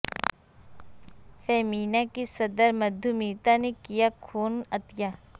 فیمینا کی صدر مدھو میتا نے کیا خون عطیہ